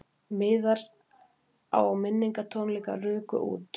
Miðar á minningartónleika ruku út